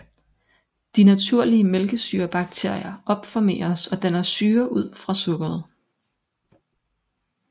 De naturlige mælkesyrebakterier opformeres og danner syre ud fra sukkeret